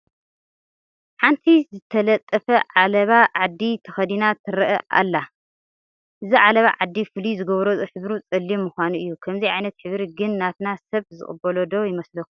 ሓንቲ ዝተጠለፈ ዓለባ ዓዲ ተኸዲና ትርአ ኣላ፡፡ እዚ ዓለባ ዓዲ ፍሉይ ዝገብሮ ሕብሩ ፀሊም ምዃኑ እዩ፡፡ ከምዚ ዓይነት ሕብሪ ግን ናትና ሰብ ዝቕበሎ ዶ ይመስለኩም?